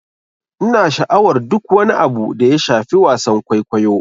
Ina sha'awar duk wani abu da ya shafi wasan kwaikwayo.